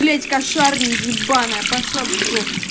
блять кошарный ебаная пошла в жопу